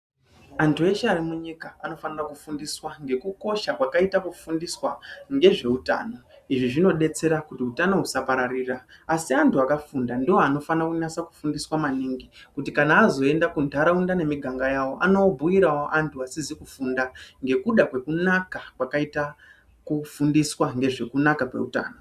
Antu eshe ari munyika anofanira kufundiswa ngekukosha kwakaita kufundiswa ngezveutano. Izvi zvinodetsera kuti utano husapararira, asi antu akafunda ndoanofanira kunatsa kufundiswa maningi kuti kana azoenda kuntaraunda nemiganga yawo anobhuyirawo antu asizi kufunda ngekuda kwekunaka kwakaita kufundiswa ngezvekunaka kweutano.